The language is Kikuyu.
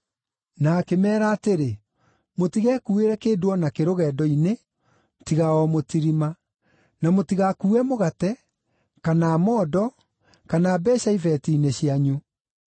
Na akĩmeera atĩrĩ, “Mũtigekuuĩre kĩndũ o nakĩ rũgendo-inĩ tiga o mũtirima; na mũtigakuue mũgate, kana mondo, kana mbeeca ibeeti-inĩ cianyu.